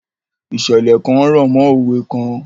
Ìṣẹ̀lẹ̀ kan rọ̀mọ́ òwe kan.